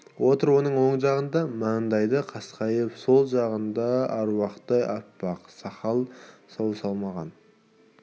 отыр оның оң жағында мандайы қасқайып сол жағыңда аруақтай аппақ сақалын саумалаған